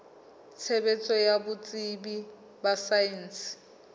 tshebetso ya botsebi ba saense